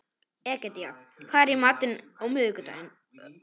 Egedía, hvað er í matinn á miðvikudaginn?